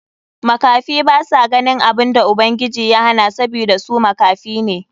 Makafi basa ganin abun da Ubangiji ya hana sabida su makafi ne.